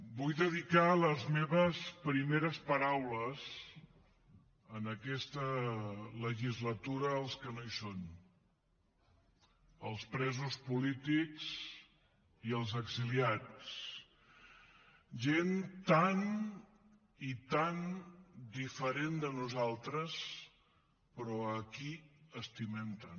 vull dedicar les meves primeres paraules en aquesta legislatura als que no hi són als presos polítics i als exiliats gent tan i tan diferent de nosaltres però a qui estimem tant